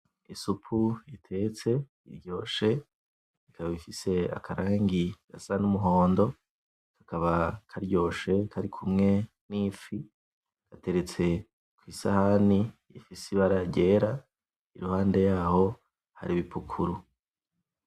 Isupu itetse, iryoshe, ikaba ifise akarangi gasa n'umuhondo, kaba karyoshe kari kumwe n'ifi, iteretse kwisahani ifise ibara ryera, iruhande yaho hari ibipukuru.